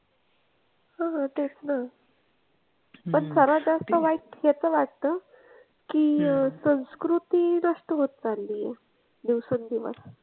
हा तेच ना. पण सर्वात जास्त वाईट याचं वाटतं की संस्कृती नष्ट होत चालली आहे. दिवसेंदिवस.